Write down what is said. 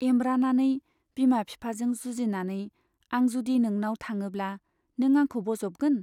एमब्रानानै , बिमा बिफाजों जुजिनानै आं जुदि नोंनाव थाङोब्ला नों आंखौ बज'बगोन?